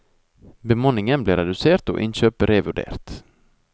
Bemanningen ble redusert og innkjøp revurdert.